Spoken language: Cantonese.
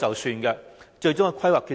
如何得出最終的規劃決定？